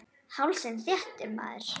Hálsinn þéttur.